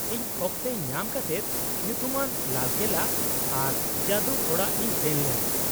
-ᱤᱧ ᱚᱠᱛᱮ ᱧᱟᱢ ᱠᱟᱛᱮᱫ ᱧᱩᱛᱩᱢᱟᱱ ᱞᱟᱞ ᱠᱮᱞᱞᱟ ᱟᱨ ᱡᱟᱫᱩᱚᱲᱟᱜ ᱤᱧ ᱥᱮᱱ ᱞᱮᱱᱟ ᱾